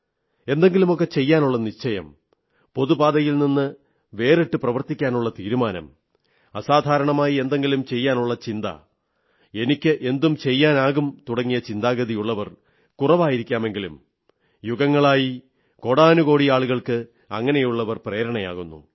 എന്തെങ്കിലുമൊക്കെ ചെയ്യാനുള്ള നിശ്ചയം പൊതുപാതയിൽ നിന്ന് വിട്ട് പ്രവർത്തിക്കാനുള്ള തീരുമാനം അസാധാരണമായി എന്തെങ്കിലും ചെയ്യാനുള്ള ചിന്ത എനിക്ക് എന്തും ചെയ്യാനാകും തുടങ്ങിയ ചിന്താഗതികൾ ഉള്ളവർ കുറവായിരിക്കാമെങ്കിലും യുഗങ്ങളായി കോടാനുകോടി ആളുകൾക്ക് അങ്ങനെയുള്ളവർ പ്രേരണയാകുന്നു